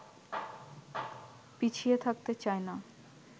পিছিয়ে থাকতে চাইনা